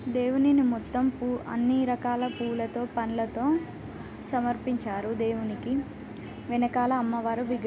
దేవునినీ మొత్తం అన్ని రకాల పూలతో పండ్లతో సమర్పించారు దేవునికి వెనకాల అమ్మవారి విగ్ర--